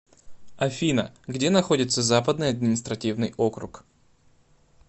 афина где находится западный административный округ